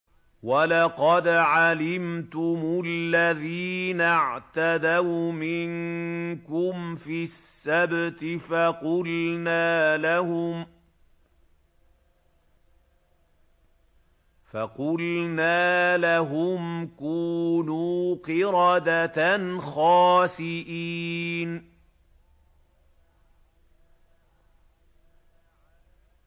وَلَقَدْ عَلِمْتُمُ الَّذِينَ اعْتَدَوْا مِنكُمْ فِي السَّبْتِ فَقُلْنَا لَهُمْ كُونُوا قِرَدَةً خَاسِئِينَ